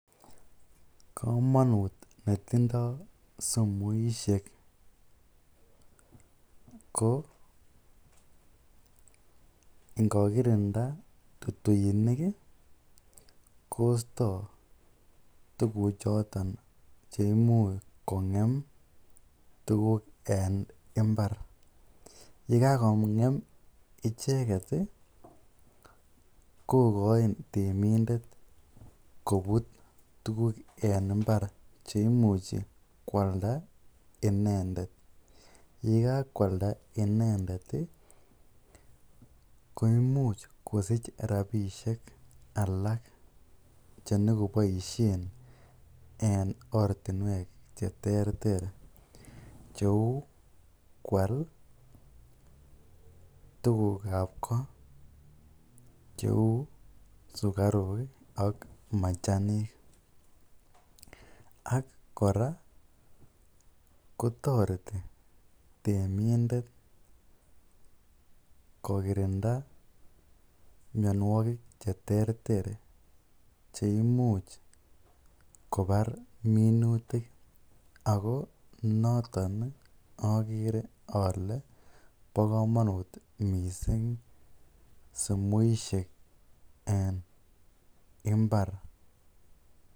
Komonut netindo sumuishek ko ingokirinda tutuik kosto tukuchoton cheimuch kongem tukuk en imbar, yekakongem icheket ko koin temindet kobut tukuk en imbar cheimuch kwalda, yekakwalda inendet koimuch kosich rabishek alak chenyokoboishen en ortnwek cheterter cheu kwaal tukukab koot cheuu sukaruk ak machanik, ak kora kotoreti temindet kokirinda mionwokik cheterter cheimuch kobar minutik ak ko noton okere olee bo komonut mising sumuishek en imbar.